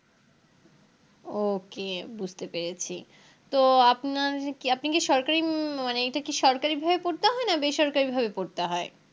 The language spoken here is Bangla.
OK বুঝতে পেরেছি তো আপনার কি আপনি কি সরকারি হম মানে এটা কি সরকারি ভাবে পড়তে হয় নাকি বেসরকারি ভাবে পড়তে হয়